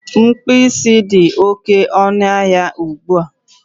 Mkpụ isi dị oké ọnụ ahịa ugbua